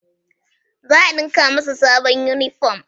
Za a ɗinka masa sabon inifom